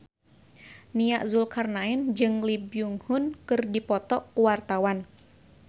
Nia Zulkarnaen jeung Lee Byung Hun keur dipoto ku wartawan